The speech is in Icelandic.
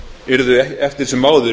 yrðu eftir sem áður